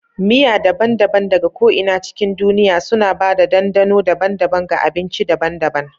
Miya daban-daban daga ko'ina cikin duniya suna ba da dandano daban-daban ga abinci daban-daban.